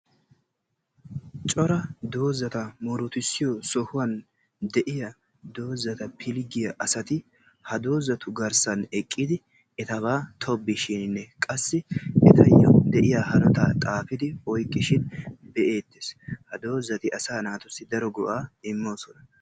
Cora dozata murutissiyo sohuwan de'iya dozata pilggiya asati ha dozatu garssan eqqidi etaba tobbishine qassi etayo de'iya hanota xaafidi oyqqishin be'etees. Ha dozati asa naatussi daro go'a immosona.